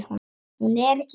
Hún er ekki þræll.